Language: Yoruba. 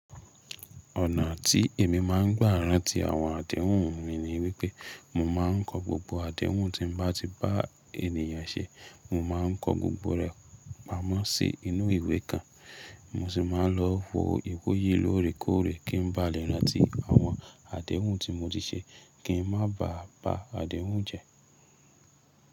Ọ̀nà tí èmi máà ń gbá rántí àwọn àdéhùn mi ni wípé mo máa ń kọ gbogbo àdéhùn tí mo bá ti bá ènìyàn ṣe. Mo ma ń kọ gbogbo rẹ̀ pamọ́ sí inú ìwé kan. Mo sì máa ń lọ wo ìwọ̀yí lóòrèkóòrè kí n ba lè rántí àwọn àdéhùn tí mo ti ṣe kí n má ba à bá àdéhùn jẹ.